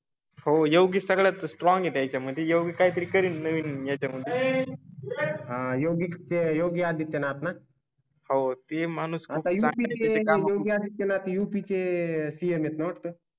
हो योगी सगळ्यात स्ट्रॉंग आहेत. यामध्ये योग काहीतरी करील नवीन याच्या मध्ये. सहयोगी ते योगी आदित्यनाथ न. होते माणूस. योगी आदितायनाथ यू पी चे सी हे ना वाटतं